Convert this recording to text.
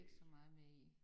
Ikke så meget med i